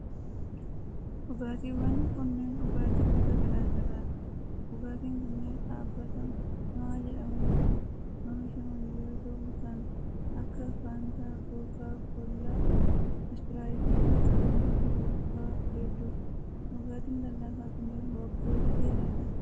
Dhugaatiiwwan kunneen, dhugaatii gosa garaa garaa dha. Dhugaatiin kunneen dhaabbata Mohaa jedhamuun kan oomishaman yoo ta'u, kan akka:faantaa, kookaa kollaa, ispiraayitii fi kanneen biroo faa hedduu dha. Dhugaatiin lallaafaa kunneen waggoota dheeraadhaaf kan oomishamaa turanii dha.